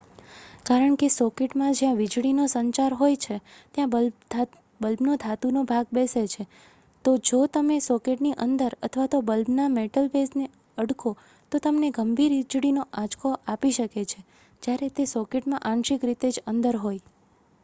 કારણ કે સોકેટમાં જ્યાં વીજળી નો સંચાર હોય છે ત્યાં બલ્બનો ધાતુનો ભાગ બેસે છે તો જો તમે સોકેટની અંદર અથવા તો બલ્બના મેટલ બેઝને અડકો તો તમને ગંભીર વીજળીનો આંચકો આપી શકે છે જ્યારે તે સોકેટમાં આંશિક રીતે જ અંદર હોય